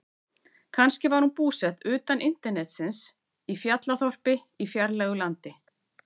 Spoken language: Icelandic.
Kannski var hún búsett utan internetsins, í fjallaþorpi í fjarlægu landi.